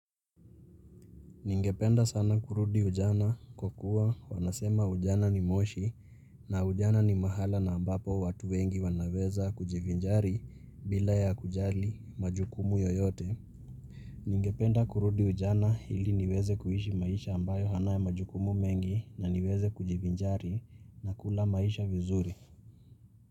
Ningependa sana kurudi ujana kwa kuwa wanasema ujana ni moshi na ujana ni mahala na ambapo watu wengi wanaweza kujivinjari bila ya kujali majukumu yoyote. Ningependa kurudi ujana ili niweze kuishi maisha ambayo hana majukumu mengi na niweze kujivinjari na kula maisha vizuri.